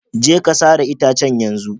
Je ka sare itacen yanzu.